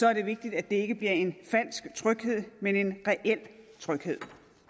er det vigtigt at det ikke bliver en falsk tryghed men en reel tryghed